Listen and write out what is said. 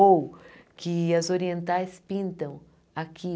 Ou que as orientais pintam aqui.